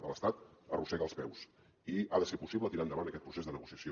de l’estat arrossega els peus i ha de ser possible tirar endavant aquest procés de negociació